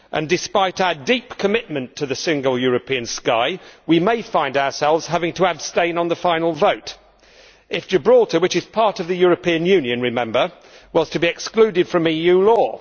Despite our deep commitment to the Single European Sky, we may find ourselves having to abstain on the final vote if Gibraltar which is part of the European Union, remember were to be excluded from EU law.